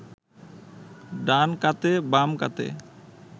ডান কাতে বাম কাতে